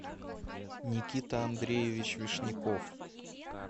никита андреевич вишняков